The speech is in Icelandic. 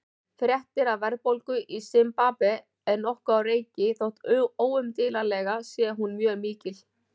Fréttir af verðbólgu í Simbabve eru nokkuð á reiki þótt óumdeilanlega sé hún mjög mikil.